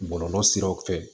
Bɔlɔlɔ siraw fɛ